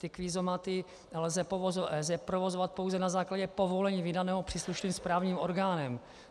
Ty kvízomaty lze provozovat pouze na základě povolení vydaného příslušným správním orgánem.